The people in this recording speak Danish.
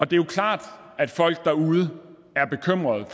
det er klart at folk derude er bekymrede